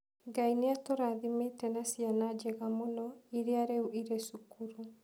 Ngai nĩ atũrathimĩte na ciana njega mũno, iria rĩu irĩ cukuru.